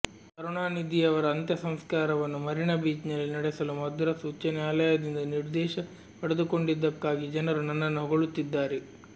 ಕರುಣಾನಿಧಿಯವರ ಅಂತ್ಯಸಂಸ್ಕಾರವನ್ನು ಮರೀನಾ ಬೀಚ್ನಲ್ಲಿ ನಡೆಸಲು ಮದ್ರಾಸ್ ಉಚ್ಚ ನ್ಯಾಯಾಲಯದದಿಂದ ನಿರ್ದೇಶ ಪಡೆದುಕೊಂಡಿದ್ದಕ್ಕಾಗಿ ಜನರು ನನ್ನನ್ನು ಹೊಗಳುತ್ತಿದ್ದಾರೆ